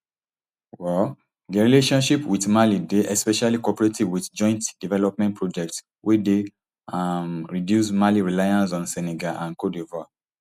um dia relations wit mali dey especially cooperative wit joint development projects wey dey um reduce mali reliance on senegal and cte divoire